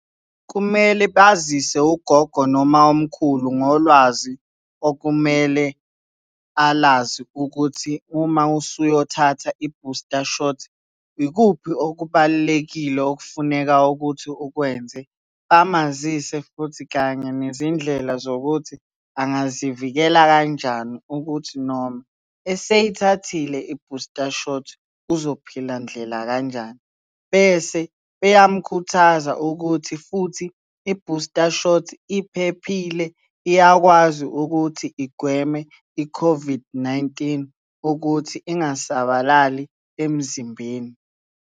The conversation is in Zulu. Kumele bazise ugogo noma umkhulu ngolwazi okumele alazi ukuthi uma usuyothatha i-booster shot, ikuphi okubalulekile okufuneka ukuthi ukwenze. Bamazise futhi kanye nezindlela zokuthi angazivikela kanjani ukuthi noma eseyithathile i-booster shot uzophila ndlela kanjani. Bese beyamkhuthaza ukuthi futhi i-booster shot, iphephile, iyakwazi ukuthi igweme i-COVID-19 ukuthi ingasabalali emzimbeni.